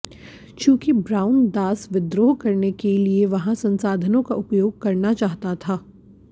चूंकि ब्राउन दास विद्रोह करने के लिए वहां संसाधनों का उपयोग करना चाहता था